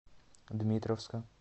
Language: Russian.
дмитровска